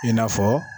I n'a fɔ